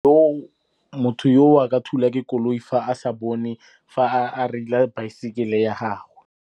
Motho yo o a ka thulwa ke koloi fa a sa bone, fa a reila baesekele ya gagwe.